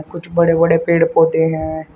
कुछ बड़े बड़े पेड़ पौधे हैं।